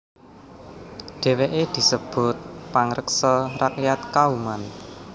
Dheweke disebut pangreksa rakyat Kauman